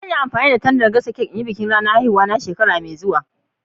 Zan yi amfani da tandan n'gasa cak na ranan haihuwa na shekara mai zuwa.